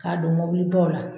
K'a don mobilibaw la